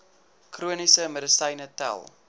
chroniese medisyne tel